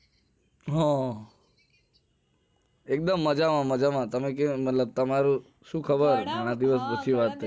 હા એક દમ મજ્જા માં માજા માં તમે કયો તમારું શું ખબર ઘણા દિવસ પછી વાત થઇ